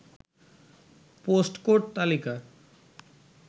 post code তালিকা